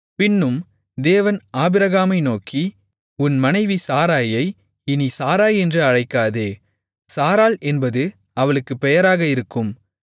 பின்னும் தேவன் ஆபிரகாமை நோக்கி உன் மனைவி சாராயை இனி சாராய் என்று அழைக்காதே சாராள் என்பது அவளுக்குப் பெயராக இருக்கும்